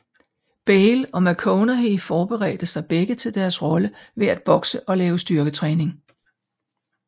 Bale og McConaughey forberedte sig begge til deres rolle ved at bokse og lave styrketræning